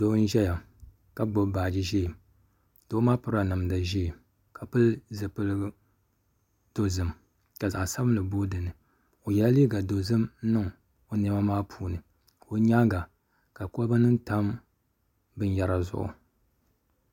Doo n ʒɛya ka gbubi baaji ʒiɛ doo maa pirila namdi ʒiɛ ka pili zipili dozim ka zaɣ sabinli booi dinni o yɛla liiga dozim n niŋ o niɛma maa puuni ka o nyaanga ka kolba nim tam binyɛra zuɣu